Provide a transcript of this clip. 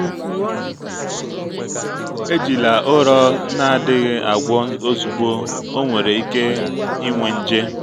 ejila ụrọ a na-adịghị agwọ ozugbo ọ nwere ike inwe nje.